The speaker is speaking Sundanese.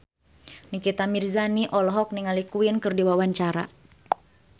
Nikita Mirzani olohok ningali Queen keur diwawancara